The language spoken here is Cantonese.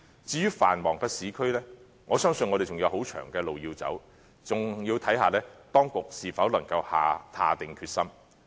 至於繁忙的市區，我相信我們仍有很長的路要走，還要視乎當局是否能夠下定決心。